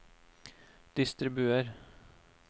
distribuer